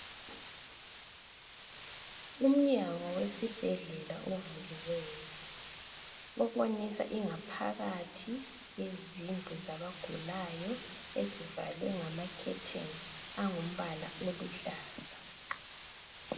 Umnyango wesibhedlela ovuliweyo obonisa ingaphakathi yezindlu zabagulayo ezivalwe ngamakhetheni angumbala oluhlaza.